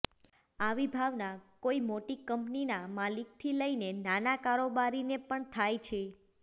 આવી ભાવના કોઇ મોટી કંપનીના માલિકથી લઇને નાના કારોબારીને પણ થાય છે